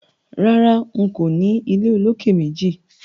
Rárá, n kò ní ilé olókè-méjì